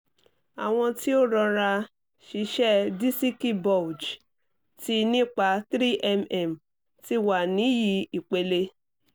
awọn ti o rọra-ṣiṣe disiki bulge ti nipa 3 mm ti wa ni yi ipele